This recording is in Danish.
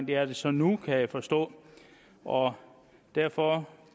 det er den så nu kan jeg forstå og derfor